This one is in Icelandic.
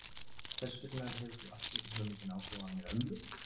Hvers vegna hefur þú allt í einu svona mikinn áhuga á henni ömmu?